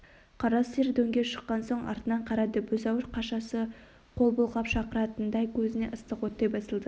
қара сиыр дөңге шыққан соң артына қарады бұзау қашасы қол бұлғап шақыратындай көзіне ыстық оттай басылды